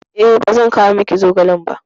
E, ba zan kawo miki zogalen ba.